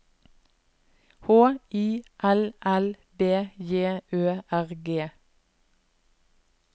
H I L L B J Ø R G